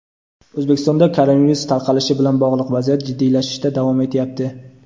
O‘zbekistonda koronavirus tarqalishi bilan bog‘liq vaziyat jiddiylashishda davom etyapti.